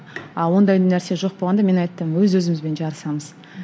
ал ондай нәрсе жоқ болғанда мен айттым өз өзімізбен жарысамыз